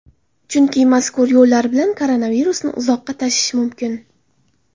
Chunki mazkur yo‘llar bilan koronavirusni uzoqqa tashish mumkin.